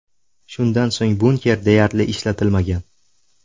Shundan so‘ng, bunker deyarli ishlatilmagan.